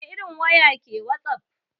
Wani irin waya ke wasap?